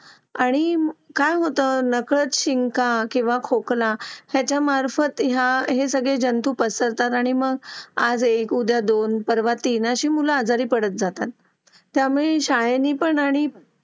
Late होतं सर्दी खोकला हा एक वाढलं आहे. एका मुलाला क्लास पूर्ण क्लास त्याच्यामध्ये वाहून निघत निघत असतो असं म्हणायला हरकत नाही. हो डेंग्यू, मलेरिया यासारखे आजार पण ना म्हणजे लसीकरण आहे. पूर्ण केले तर मला नाही वाटत आहे रोप असू शकतेपुडी लसीकरणाबाबत थोडं पालकांनी लक्ष दिलं पाहिजे की आपला मुलगा या वयात आलेला आहे. आता त्याच्या कोणत्या लसी राहिलेले आहेत का?